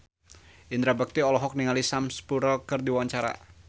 Indra Bekti olohok ningali Sam Spruell keur diwawancara